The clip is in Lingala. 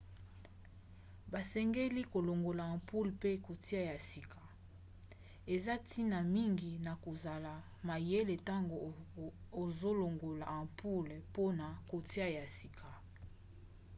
basengeli kolongola ampoule mpe kotia ya sika. eza ntina mingi na kozala mayele ntango ozolongola ampoule mpona kotia ya sika